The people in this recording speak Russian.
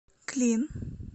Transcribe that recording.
клин